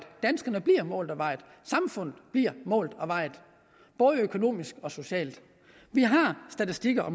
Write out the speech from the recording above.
danskerne bliver målt og vejet samfundet bliver målt og vejet både økonomisk og socialt vi har statistikker